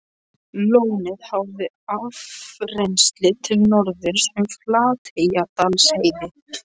Valdimar var bátasmiður, enn afkastameiri en faðir hans.